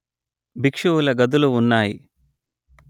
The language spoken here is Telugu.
భిక్షువుల గదులు ఉన్నాయి